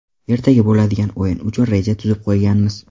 Ertaga bo‘ladigan o‘yin uchun reja tuzib qo‘yganmiz.